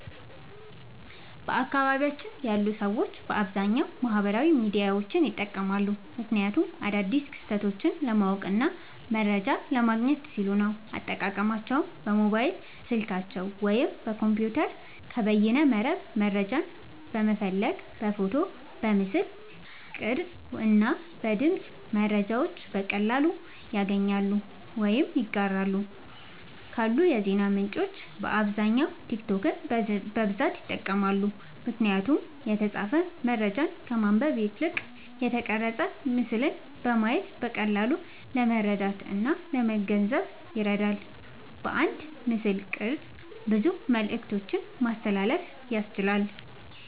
በአካባቢየ ያሉ ሰዎች በአብዛኛዉ ማህበራዊ ሚዲያዎችን ይጠቀማሉ። ምክንያቱም አዳዲስ ክስተቶችን ለማወቅና መረጃ ለማግኘት ሲሉ ነዉ። አጠቃቀማቸዉም በሞባይል ስልካቸዉ ወይም በኮምፒዉተር ከበይነመረብ መረጃን በመፈለግ በፎቶ፣ በምስል ቅርጽ እና በድምጽ መረጃዎችን በቀላሉ ያገኛሉ ወይም ያጋራሉ። ካሉ የዜና ምንጮች በአብዛኛዉ ቲክቶክን በብዛት ይጠቀማሉ። ምክንያቱም የተጻፈ መረጃን ከማንበብ ይልቅ የተቀረጸ ምስልን በማየት በቀላሉ ለመረዳትእና ለመገንዘብ ይረዳል። በአንድ ምስልቅርጽ ብዙ መልክቶችን ማስተላለፍ ያስችላል።